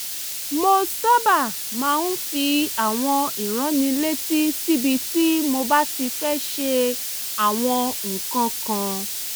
mo sábà máa ń fi àwọn ìránnilétí síbi tí mo bá ti fẹ́ ṣe àwọn nǹkan kan